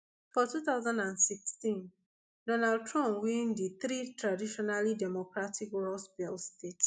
for two thousand and sixteen donald trump win di three traditionally democratic rust belt states